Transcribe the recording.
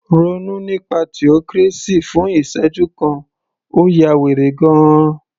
Ronú nípa theocracy fún ìsẹ́jú kan, ó ya wèrè gan -an